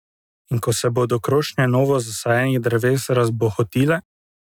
In ko se bodo krošnje novo zasajenih dreves razbohotile?